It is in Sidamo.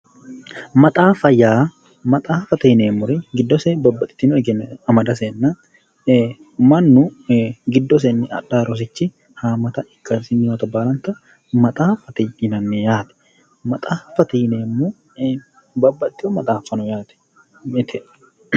Maxaaffa yaa maxaaffate yineemmori giddose babbaxitino egenno amadasenna manu giddosenni adhaa rosichi haammata ikkasinni hatto baalanta maxaaffate yinanni yaate. maxaaffate yineemmohu bababxewo maxaaffa no yaate mite